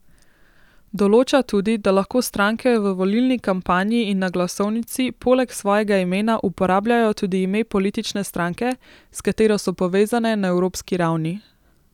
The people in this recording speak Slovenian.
Določa tudi, da lahko stranke v volilni kampanji in na glasovnici poleg svojega imena uporabljajo tudi ime politične stranke, s katero so povezane na evropski ravni.